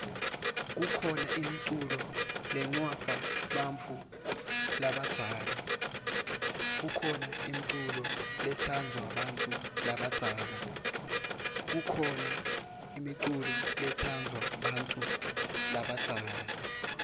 kukhona imiculo letsandvwa bantfu labadzala